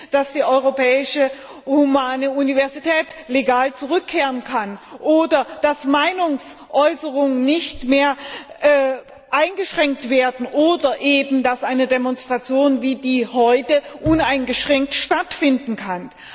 dass die Europäische Humanistische Universität legal zurückkehren kann, oder dass Meinungsäußerungen nicht mehr eingeschränkt werden, oder dass eine Demonstration wie die heutige uneingeschränkt stattfinden kann.